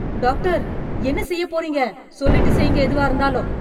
Doctor என்ன செய்யப் போறீங்க? சொல்லிவிட்டு செய்ங்க எதுவாக இருந்தாலும்.